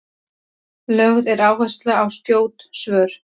lögð er áhersla á skjót svör